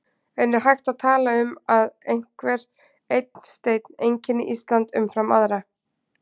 En er hægt að tala um að einhver einn steinn einkenni Ísland umfram aðra?